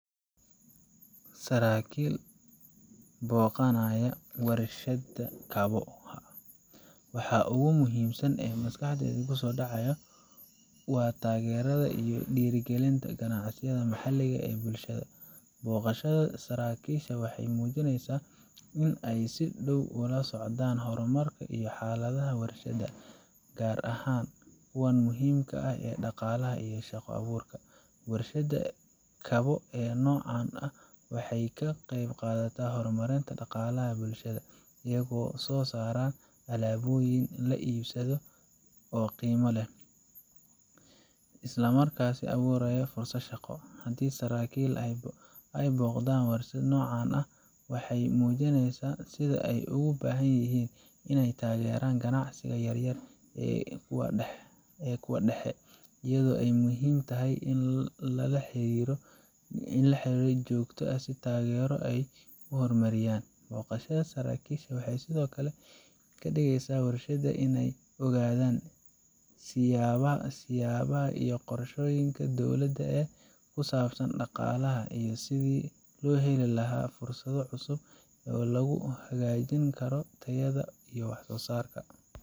Saraakiil booqanaya warshad kabo, waxa ugu muhiimsan ee maskaxdayda ku soo dhacaya waa taageerada iyo dhiirrigelinta ganacsiga maxalliga ah ee bulshada. Booqashada saraakiisha waxay muujinaysaa in ay si dhow ula socdaan horumarka iyo xaaladda warshadaha, gaar ahaan kuwa muhiimka u ah dhaqaalaha iyo shaqo abuurka. Warshadaha kabo ee noocan ah waxay ka qayb qaataan horumarinta dhaqaalaha bulshada, iyagoo soo saara alaabooyin la iibsado oo qiimo leh, isla markaana abuuraya fursado shaqo. Haddii saraakiil ay booqdaan warshad noocan ah, waxay muujineysa sida ay ugu baahan yihiin inay taageeraan ganacsiga yar yar iyo kuwa dhexe, iyadoo ay muhiim tahay in la helo xiriir joogto ah iyo taageero ay ku horumariyaan. Booqashada saraakiisha waxay sidoo kale ka dhigeysaa warshadaha inay ogaadaan siyaasadaha iyo qorshoyinka dowladda ee ku saabsan dhaqaalaha, iyo sidii ay u heli lahaayeen fursado cusub oo lagu hagaajin karo tayada iyo wax soosaarka.